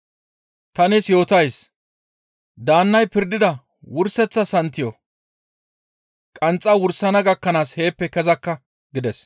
Ta nees yootays; daannay pirdida wurseththa santiyo qanxxa wursana gakkanaas ne heeppe kezakka» gides.